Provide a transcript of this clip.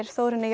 Þórunni